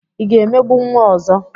Ị ga-emegbu nwa ọzọ?